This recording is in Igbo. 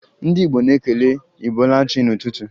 Ndị Igbo na-ekele 'ibolachi' n'ụtụtụ